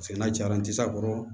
Paseke n'a jara n tɛ se a kɔrɔ